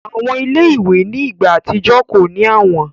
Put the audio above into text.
Awọn ile-iwe ni igba atijọ ko ni awọn